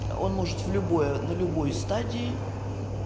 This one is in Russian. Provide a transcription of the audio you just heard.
он может в любой на любой стадии